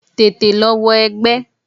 Tètè lọ wọ egbẹ́!